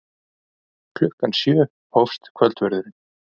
Klukkan sjö hófst kvöldverðurinn.